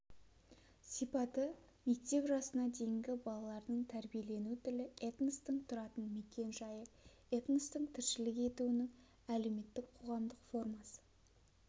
сипаты мектеп жасына дейінгі балалардың тәрбиелену тілі этностың тұратын мекен-жайы этностың тіршілік етуінің әлеуметтікқоғамдық формасы